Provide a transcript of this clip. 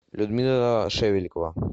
людмила шевелькова